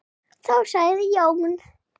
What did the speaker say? Þá sagði Jón